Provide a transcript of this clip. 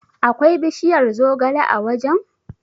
Akwai bishiyar zogale a wajen?